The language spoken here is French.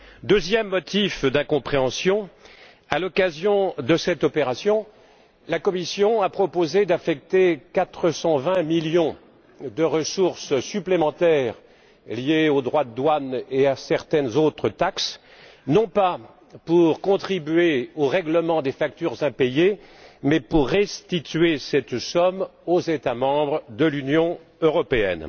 Deuxième motif d'incompréhension à l'occasion de cette opération, la Commission a proposé d'affecter 420 millions de ressources supplémentaires liées aux droits de douane et à certaines autres taxes, non pas pour contribuer au règlement des factures impayées mais pour restituer cette somme aux États membres de l'Union européenne.